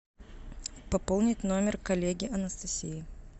пополнить номер коллеги анастасии